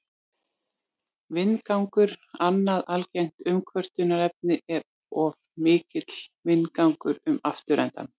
Vindgangur Annað algengt umkvörtunarefni er of mikill vindgangur um afturendann.